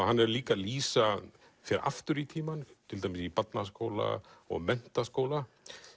hann er líka að lýsa fer aftur í tímann til dæmis í barnaskóla og menntaskóla